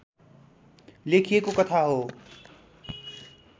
लेखिएको कथा हो